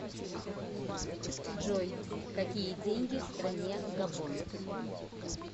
джой какие деньги в стране габон